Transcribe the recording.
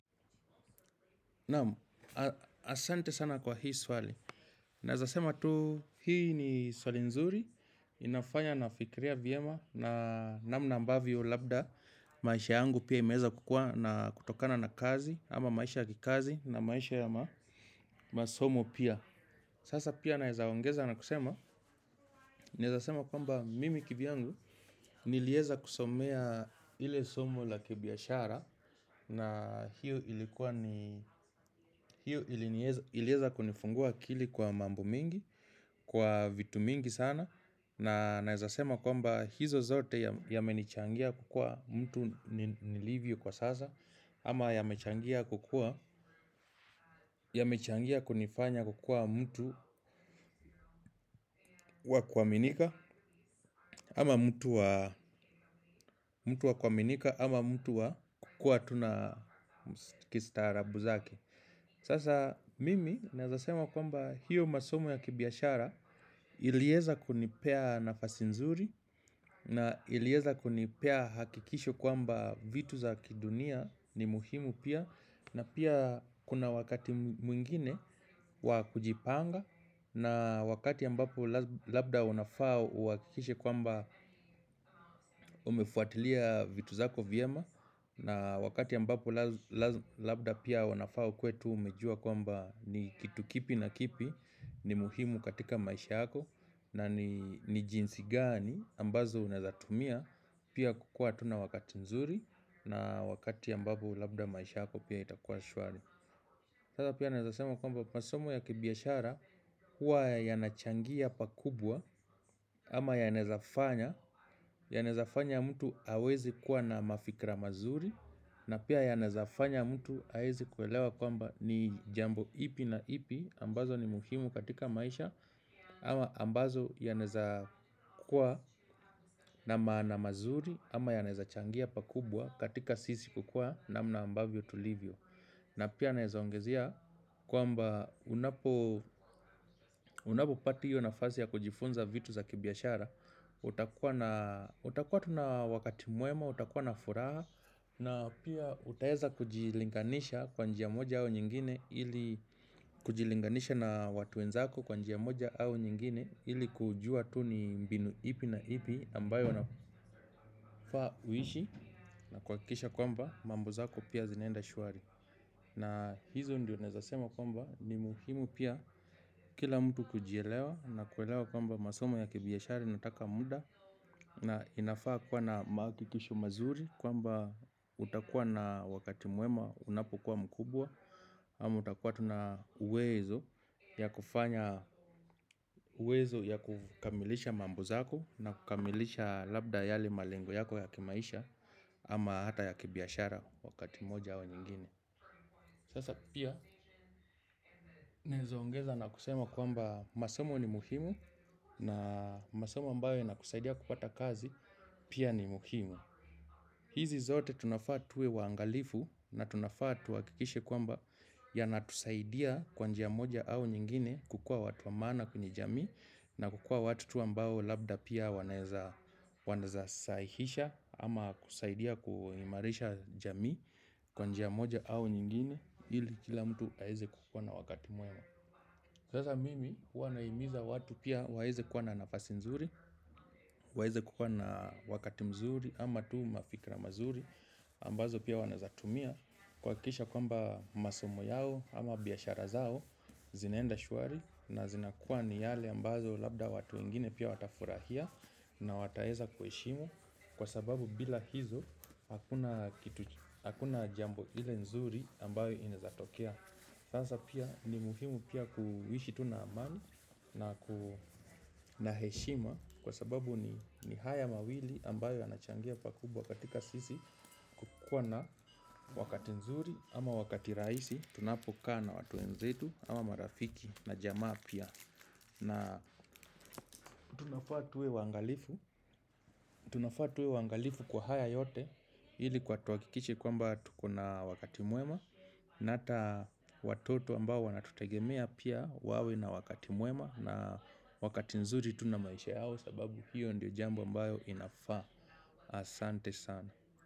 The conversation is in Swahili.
Naam, asante sana kwa hii swali. Naweza sema tu, hii ni swali nzuri. Inafanya nafikiria vyema na namna ambavyo labda. Maisha yangu pia imeweza kukua na kutokana na kazi. Ama maisha ya kikazi na maisha ya masomo pia. Sasa pia nawezaongeza na kusema. Naweza sema kwamba mimi kivyangu niliweza kusomea ile somo la kibiashara. Na hiyo ilikuwa ni hiyo iliweza kunifungua akili kwa mambo mengi. Kwa vitu mingi sana. Na nawezasema kwamba hizo zote yamenichangia kukua mtu nilivyo kwa sasa. Ama yamechangia kukua yamechangia kunifanya kukua mtu wa kuaminika. Ama mtu wa kuaminika ama mtu wa kukuwa tu na kistaarabu zake. Sasa mimi naweza sema kwamba hiyo masomo ya kibiashara iliweza kunipea nafasi nzuri na iliweza kunipea hakikisho kwamba vitu za kidunia ni muhimu pia na pia kuna wakati mwingine wa kujipanga na wakati ambapo labda unafaa uhakikishe kwamba umefuatilia vitu zako vyema. Na wakati ambapo labda pia unafaa ukuwe tu umejua kwamba ni kitu kipi na kipi ni muhimu katika maisha yako. Na ni jinsi gani ambazo unawezatumia pia kukuwa tu na wakati nzuri na wakati ambapo labda maisha yako pia itakuwa shwari. Sasa pia naweza sema kwamba masomo ya kibiashara huwa yanachangia pakubwa ama yanawezafanya. Yanawezafanya mtu aweze kuwa na mafikra mazuri na pia yanawezafanya mtu aweze kuelewa kwamba ni jambo ipi na ipi ambayo ni muhimu katika maisha. Ama ambazo yanaweza kukuwa na maana mazuri. Ama yanaweza changia pakubwa katika sisi kukuwa namna ambavyo tulivyo. Na pia nawezaongezea kwamba unapopata hio nafasi ya kujifunza vitu za kibiashara. Utakuwa tu na wakati mwema, utakuwa na furaha. Na pia utaweza kujilinganisha kwa njia moja au nyingine ili kujilinganisha na watu wenzako kwa njia moja au nyingine ili kujua tu ni mbinu ipi na ipi ambayo anafaa kuishi na kuhakikisha kwamba mambo zako pia zinaenda shwari. Na hizo ndio nawezasema kwamba ni muhimu pia kila mtu kujielewa. Na kuelewa kwamba masomo ya kibiashara inataka muda. Na inafaa kuwa na mahakikisho mazuri kwamba utakuwa na wakati mwema unapokuwa mkubwa ama utakuwa tu na uwezo ya kukamilisha mambo zako na kukamilisha labda yale malengo yako ya kimaisha. Ama hata ya kibiashara wakati moja au nyingine. Sasa pia nawezaongeza na kusema kwamba masomo ni muhimu. Na masomo ambayo yanakusaidia kupata kazi pia ni muhimu. Hizi zote tunafaa tuwe waangalifu na tunafaa tuhakikishe kwamba yanatusaidia kwa njia moja au nyingine kukuwa watu wa maana kwenye jamii. Na kukuwa watu tu ambao labda pia wanawezasahihisha ama kusaidia kuimarisha jamii kwa njia moja au nyingine ili kila mtu aweze kukuwa na wakati mwema sasa mimi huwa nahimiza watu pia waweze kuwa na nafasi nzuri, waweze kukuwa na wakati mzuri ama tu mafikra mazuri ambazo pia wanawezatumia kuhakikisha kwamba masomo yao ama biashara zao zinaenda shwari na zinakuwa ni yale ambazo labda watu wengine pia watafurahia na wataweza kuheshimu kwa sababu bila hizo hakuna jambo ile nzuri ambayo inawezatokea. Sasa pia ni muhimu pia kuishi tu na amani na heshima kwa sababu ni haya mawili ambayo yanachangia pakubwa katika sisi kukuwa na wakati nzuri ama wakati rahisi tunapokaa na watu wenzetu ama marafiki na jamaa pia. Na tunafaa tuwe waangalifu kwa haya yote ili tuhakikishe kwamba tukona wakati mwema. Na hata watoto ambao wanatutegemea pia wawe na wakati mwema. Na wakati nzuri tu na maisha yao sababu hiyo ndio jambo ambayo inafaa. Asante sana.